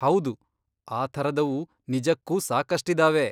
ಹೌದು, ಆ ಥರದವು ನಿಜಕ್ಕೂ ಸಾಕಷ್ಟಿದಾವೆ.